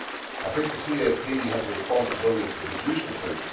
I think the CAP has a responsibility to produce the food.